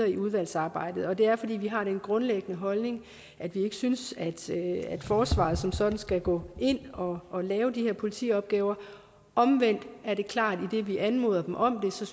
i udvalgsarbejdet og det er fordi vi har den grundlæggende holdning at vi ikke synes at forsvaret som sådan skal gå ind og og lave de her politiopgaver omvendt er det klart at idet vi anmoder dem om det så